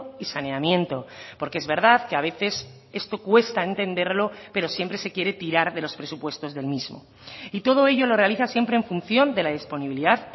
y saneamiento porque es verdad que a veces esto cuesta entenderlo pero siempre se quiere tirar de los presupuestos del mismo y todo ello lo realiza siempre en función de la disponibilidad